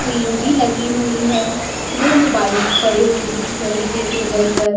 Cream भी लगी हुईं है दो मोबाइल्स पड़े हुए दिख रहें हैं टेबल पर।